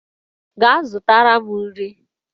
Gaa zụtara m nri!